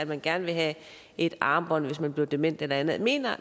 man gerne vil have et armbånd hvis man bliver dement eller andet mener